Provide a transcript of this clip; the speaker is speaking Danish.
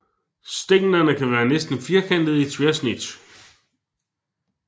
Stænglerne kan være næsten firkantede i tværsnit